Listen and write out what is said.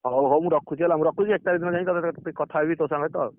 ହଉ ହଉ ମୁଁ ରଖୁଛି ହେଲା ମୁଁ ରଖୁଛି ଏକ ତାରିଖ ଦିନ ଯାଇ କଥା ହେବି ତୋ ସହିତ ଆଉ।